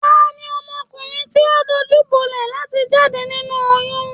Tani ọmọkùnrin ti o dojubolẹ láti jáde nínú oyún?